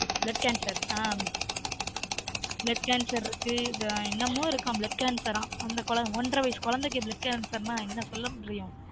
bloodcancer ஆன் blood cancer இரு க்குஆன் என்னமொ இருக்கான் blood cancer ஆன் அந்த குழந்தை ஒன்ற வயசு குழந்தைக்கு blood cancer நா என்ன சொல்ல முடியும்